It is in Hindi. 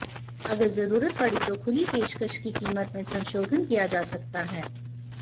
अगर जरूरत पड़ी तो खुली पेशकश की कीमत में संशोधन किया जा सकता है